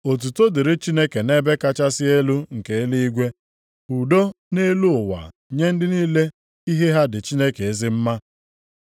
“Otuto dịrị Chineke nʼebe kachasị elu nke eluigwe. Udo nʼelu ụwa nye ndị niile ihe ha dị Chineke ezi mma.”